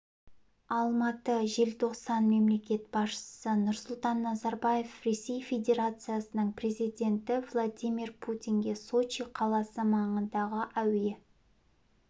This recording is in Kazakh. алматы желтоқсан мемлекет басшысы нұрсұлтан назарбаев ресей федерациясының президенті владимир путинге сочи қаласы маңындағы әуе